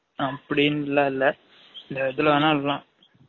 அப்டினுலா இல்ல ஏதுல வேனாலும் விடலாம்